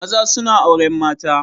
Maza suna auren mata.